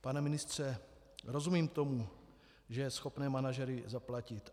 Pane ministře, rozumím tomu, že je schopné manažery zaplatit.